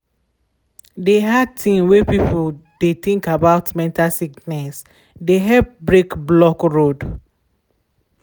de hard thing wey people de think about mental sickness de help break block road.